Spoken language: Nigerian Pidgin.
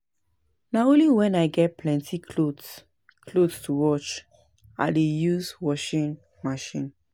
Na only wen I get plenty cloths cloths to wash I dey use washing machine.